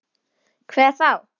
Hver þá?